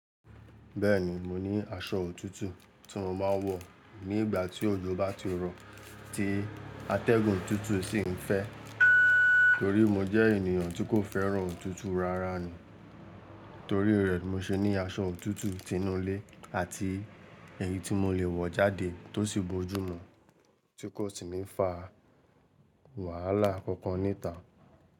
Bẹ́ẹ̀ni, mo ní aṣọ òtútù tí mo máa ń wọ̀ ní ìgbà tí òjò bá ti rọ̀ tí atẹ́gùn òtútù sì ń fẹ́ torí mo jẹ́ ènìyàn tí kò fẹ́ràn òtútù rárá ni. Torí rẹ̀, mo ṣe ní aṣọ òtútù tinúlé àti èyí tí mo lè wọ̀ jáde tó sì bojú mu tí kò sì ní fa wàhálà kankan ní ìta.